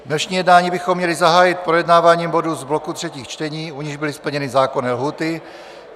Dnešní jednání bychom měli zahájit projednáváním bodů z bloku třetích čtení, u nichž byly splněny zákonné lhůty.